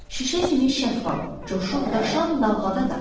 Şüşə kimi şəffaf, coşub daşan dalğada da.